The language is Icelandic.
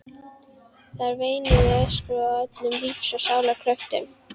Þær veinuðu og öskruðu af öllum lífs og sálar kröftum.